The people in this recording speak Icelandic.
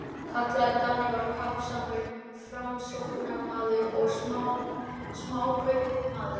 kallaði Daníval, kappsamur Framsóknarmaður og smákaupmaður.